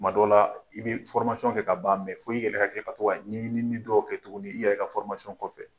Tuma dɔ la i bɛ kɛ ka ban, fo i yɛrɛ ka kila ka to ka ɲɛnini dɔw kɛ tuguni i yɛrɛ ka kɔfɛ.